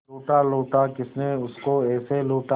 लूटा लूटा किसने उसको ऐसे लूटा